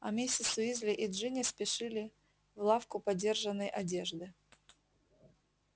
а миссис уизли и джинни спешили в лавку подержанной одежды